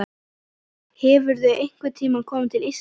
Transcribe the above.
Hefurðu einhvern tíma komið til Íslands?